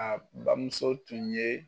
A bamuso tun ye